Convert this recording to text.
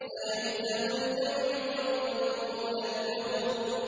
سَيُهْزَمُ الْجَمْعُ وَيُوَلُّونَ الدُّبُرَ